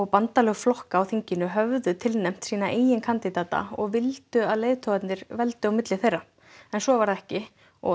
bandalög flokka á þinginu höfðu tilnefnt sína eigin kandídata og vildu að leiðtogarnir veldu á milli þeirra en svo varð ekki og